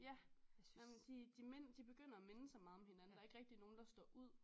Ja nej men de de de begynder at minde så meget om hinanden der er ikke rigtig nogen der står ud